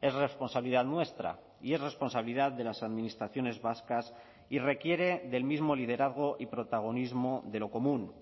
es responsabilidad nuestra y es responsabilidad de las administraciones vascas y requiere del mismo liderazgo y protagonismo de lo común